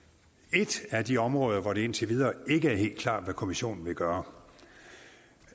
et af de områder hvor det indtil videre ikke er helt klart hvad kommissionen vil gøre